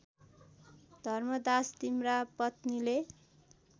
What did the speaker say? धर्मदास तिम्रा पत्नीले